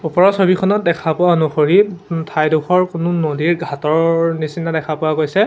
ওপৰৰ ছবিখনত দেখা পোৱা অনুসৰি ঠাইডোখৰ কোনো নদীৰ ঘাটৰ নিচিনা দেখা পোৱা গৈছে।